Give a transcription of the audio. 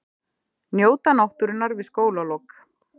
Njóta náttúrunnar við skólalok